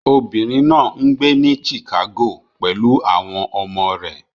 Obìnrin náà ń gbé ní Chicago pẹ̀lú àwọn ọmọ rẹ̀